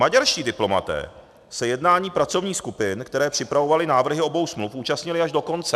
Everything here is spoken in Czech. Maďarští diplomaté se jednání pracovních skupin, které připravovaly návrhy obou smluv, účastnili až do konce.